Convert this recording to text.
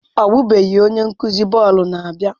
Ọbụbeghị, onye nkuzi bọọlụ na-abịa.